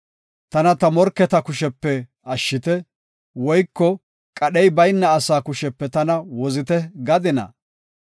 “Tana ta morketa kushepe ashshite” woyko, “Qadhey bayna asaa kushepe tana wozite” gadinaa?